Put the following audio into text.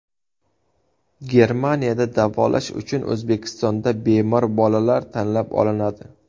Germaniyada davolash uchun O‘zbekistonda bemor bolalar tanlab olinadi.